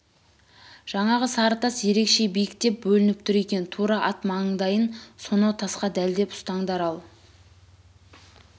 жаңағы сары тас ерекше биіктеп бөлініп тұр екен тура ат мандайын сонау тасқа дәлдеп ұстандар ал